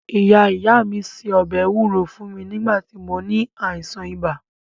Ìyá ìyá mí se ọbẹ̀ ewúro fún mí nígbà tí mó ní àìsàn ibà.